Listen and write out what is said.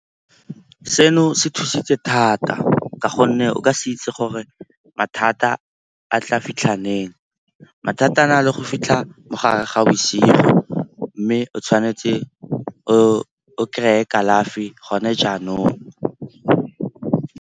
Seno se thusitse thata ka gonne o ka se itse gore mathata a tla fitlhang neng. Mathata a na le go fitlha mo gare ga bosigo mme o tshwanetse o kry-e kalafi gone jaanong.